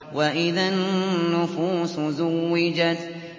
وَإِذَا النُّفُوسُ زُوِّجَتْ